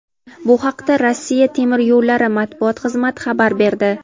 Bu haqda "Rossiya temir yo‘llari" matbuot xizmati xabar berdi.